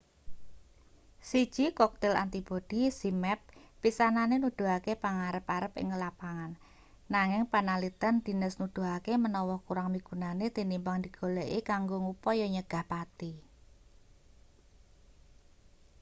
siji koktil antibodi zmapp pisanane nuduhake pangarep-arep ing lapangan nanging panaliten dhines nuduhake manawa kurang migunani tinimbang digoleki kanggo ngupaya nyegah pati